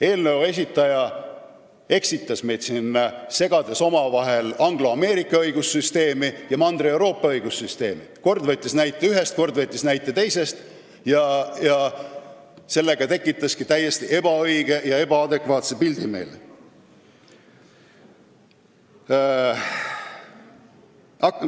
Eelnõu esitajate esindaja eksitas meid, segades omavahel angloameerika ja Mandri-Euroopa õigussüsteeme: kord võttis ta näite ühest, kord teisest, tekitades meile täiesti ebaõige ja ebaadekvaatse pildi.